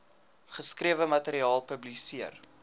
geskrewe materiaal publiseer